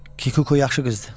Kikuko yaxşı qızdır.